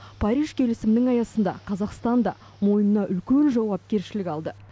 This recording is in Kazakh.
париж келісімінің аясында қазақстан да мойнына үлкен жауапкершілік алды